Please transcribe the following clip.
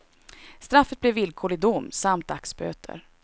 Straffet blev villkorlig dom samt dagsböter.